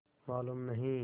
मालूम नहीं